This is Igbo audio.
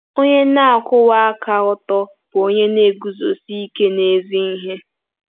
Onye na-akwụwa aka ọtọ bụ onye na-eguzosi ike n'ezi ihe.